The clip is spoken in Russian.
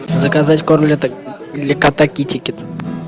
заказать корм для кота китикет